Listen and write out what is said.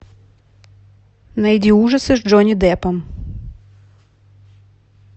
найди ужасы с джонни деппом